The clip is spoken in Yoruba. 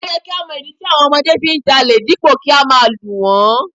O yẹ kí á mọ ìdí tí àwọn ọmọdé fi ń jalè dípò kí á máa lù wón.